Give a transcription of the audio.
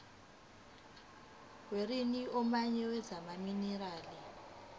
werijini womnyango wezamaminerali